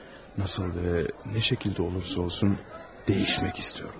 Necə və nə şəkildə olursa olsun, dəyişmək istəyirəm.